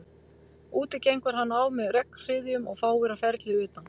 Úti gengur hann á með regnhryðjum og fáir á ferli utan